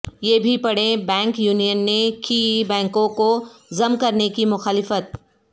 یہ بھی پڑھیں بینک یونین نے کی بینکوں کوضم کرنے کی مخالفت